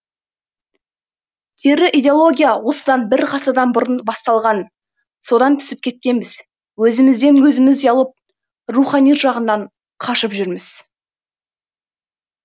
кері идеология осыдан бір ғасырдан бұрын басталған содан түсіп кеткенбіз өзімізден өзіміз ұялып рухани жағынан қашып жүрміз